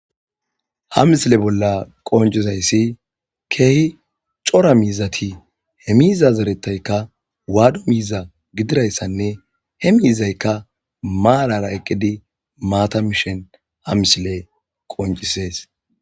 ha misile bolla qonjizayssi keehi cora miizati he miiza zeretaykka waado miiza gidirayssanne he miizaykka maarara eqqidi maata mishen ha misile qoncisees.